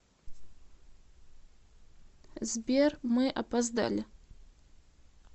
сбер мы опоздали